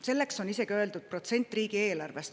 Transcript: Selleks on isegi öeldud protsent riigieelarvest.